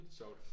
Sjovt